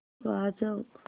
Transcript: वाजव